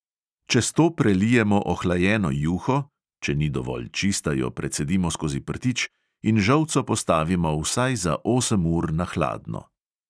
Čez to prelijemo ohlajeno juho (če ni dovolj čista, jo precedimo skozi prtič) in žolco postavimo vsaj za osem ur na hladno.